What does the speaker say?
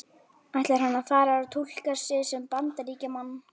Ætlar hann að fara að túlka sig sem Bandaríkjamann?